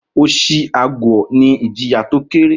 Oshi aguo ní ìjìyà tó kéré